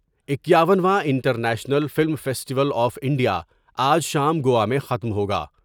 اکیاون واں international film festival of India آج شام گوا میں ختم ہو گا ۔